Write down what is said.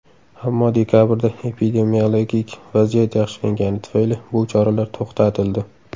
Ammo dekabrda epidemiologik vaziyat yaxshilangani tufayli bu choralar to‘xtatildi.